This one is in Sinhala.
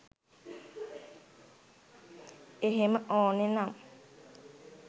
එහෙම ඕන නම්